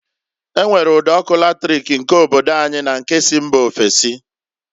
E nwere ụd'ọkụ latric nke obodo anyi na nke si mba ofesi.